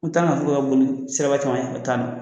N tan ga to ka boli siraba camancɛ taani